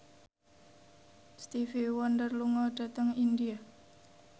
Stevie Wonder lunga dhateng India